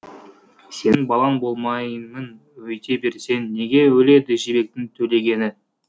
сенің балаң болмаймын өйте берсең неге өледі жібектің төлегені